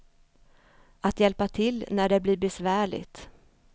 Att hjälpa till när det blir besvärligt.